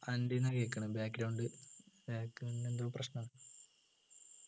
എൻ്റെ നു കേക്കുന്നു എന്തോ പ്രശ്‌ന